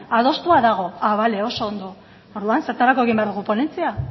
adostua dago ah vale oso ondo orduan zertarako egin behar dugu ponentzia